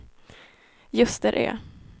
Ljusterö